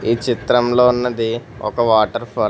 ఈ చిత్రంలో ఉన్నది ఒక వాటర్ ఫాల్ .